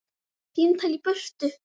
Bara símtal í burtu.